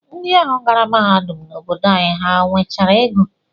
Ndị ahụ gara mahadum n'obodo anyị, ha nwechara ego?